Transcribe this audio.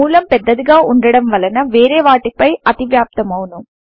మూలము పెద్డగా వుండడం వలన వేరే వాటి పై అతివ్యాప్తమవును